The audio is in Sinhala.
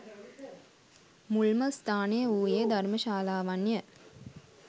මුල්ම ස්ථානය වූයේ, ධර්ම ශාලාවන්ය.